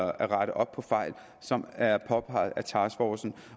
at rette op på fejl som er påpeget af taskforcen